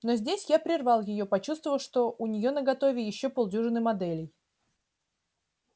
но здесь я прервал её почувствовав что у нее наготове ещё полдюжины моделей